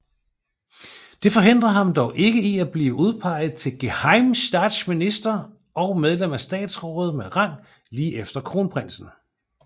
Det forhindrer ham dog ikke i at blive udpeget til gehejmestatsminister og medlem af statsrådet med rang lige efter kronprinsen